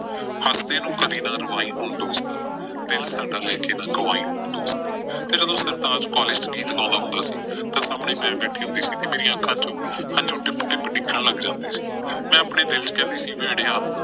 ਹੱਸਦੇ ਨੂੰ ਕਦੀਂ ਨਾ ਰਵਾਈਂ ਹੁਣ ਦੋਸਤਾ, ਦਿਲ ਸਾਡਾ ਲੈ ਕੇ ਨਾ ਗਵਾਈਂ ਹੁਣ ਦੋਸਤਾ। ਤੇ ਜਦੋਂ ਸਰਤਾਜ ਕਾਲਜ਼ ਚ ਗੀਤ ਗਾਉਂਦਾ ਹੁੰਦਾ ਸੀ ਤਾਂ ਸਾਹਮਣੇ ਮੈਂ ਬੈਠੀ ਹੁੰਦੀ ਸੀ ਤੇ ਮੇਰੀਆਂ ਅੱਖਾਂ ਚੋ ਹੰਝੂ ਟਿੱਪ ਟਿੱਪ ਡਿੱਗਣ ਲੱਗ ਜਾਂਦੇ ਸੀ। ਮੈਂ ਆਪਣੇ ਦਿਲ ਚ ਕਹਿੰਦੀ ਸੀ ਭੇੜਿਆ।